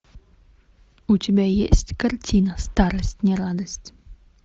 у тебя есть картина старость не радость